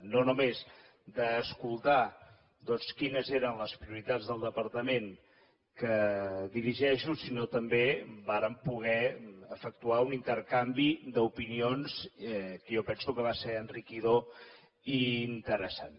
no només d’escoltar doncs quines eren les prioritats del departament que dirigeixo sinó també vàrem poder efectuar un intercanvi d’opinions que jo penso que va ser enriquidor i interessant